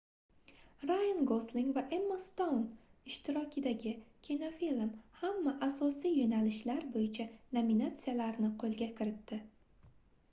rayan gosling va emma stoun ishtirokidagi kinofilm hamma asosiy yoʻnalishlar boʻyicha nominatsiyalarni qoʻlga kiritdi